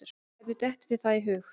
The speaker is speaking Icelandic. Hvernig dettur þér það í hug?